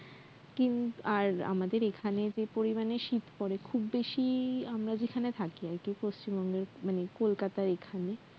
কিন্তু আর আমাদের এখানে যে পরিমানে শিত পরে খুব বেশি আমরা যেখানে থাকি আরকি পশ্চিমবঙ্গে কলকাতার এখানে